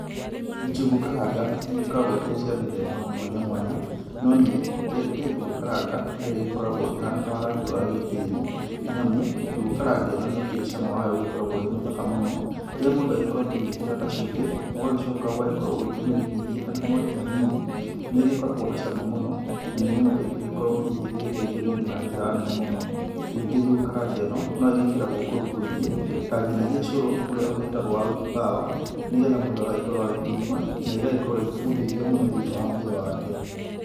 Njũgũ karanga, nĩigĩkoragwo irĩ cia mĩthemba mwanya mwanya. No niĩ ngĩendete njũgũ karanga ĩrĩa ĩgĩkoragwo ĩhana na rangi wa gĩtĩĩri, nĩ amu njũgũ karanga ĩno nĩ ĩkĩrĩ cama wayo ũgĩkoragwo wĩ mũthaka mũno. Rĩría mũndũ akorwo akĩmĩĩkĩra kĩndũ ta cumbĩ, ũgagĩcoka ũgagĩkorwo ũkĩmĩrigithia mwaki hanini, nĩ ĩgĩkoragwo na cama mũno. Na nĩ nyamũ ĩgĩkoragwo hihi ĩgĩteithia mwĩrĩ na njĩra nene mũnó. Ningĩ njũgũ karanga ĩno no, ĩgĩkĩragwo kũndũ kũingĩ ta nginagia cũrũ úrĩa ũgíĩtagwo wa uji power nĩgetha mũndũ agagĩkorwo agĩkĩnyua, na ĩgagĩkorwo ĩkĩmũteithia mũno thĩinĩ wa mwĩrĩ wake.